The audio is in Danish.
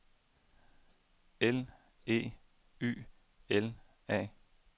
L E Y L A